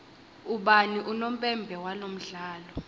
ubani unompempe walomdlalo